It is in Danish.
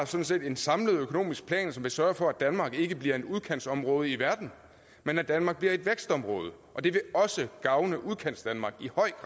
set en samlet økonomisk plan som vil sørge for at danmark ikke bliver et udkantsområde i verden men at danmark bliver et vækstområde og det vil også gavne udkantsdanmark